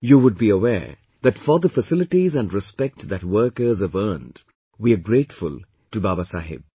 You would be aware that for the facilities and respect that workers have earned, we are grateful to Babasaheb